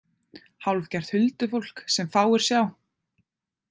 Hálfgert huldufólk sem fáir sjá.